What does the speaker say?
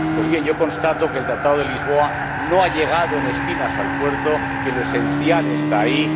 Pues bien, yo constato que el Tratado de Lisboa no ha llegado en espinas al puerto, que lo esencial está ahí.